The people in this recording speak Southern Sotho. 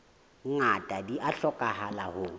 ngata di a hlokahala ho